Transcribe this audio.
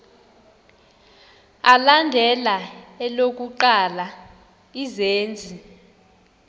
alandela elokuqala izenzi